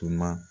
Tuma